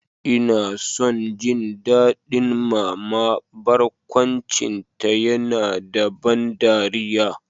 Ina son jin daɗin Mama, barkwancinta yana da ban dariya.